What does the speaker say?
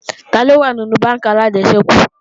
Taló wà nínú bánkì alájẹsẹ́kù